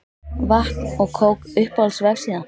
Vatn og kók Uppáhalds vefsíða?